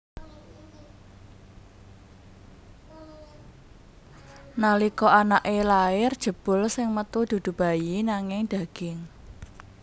Nalika anaké lair jebul sing metu dudu bayi nanging daging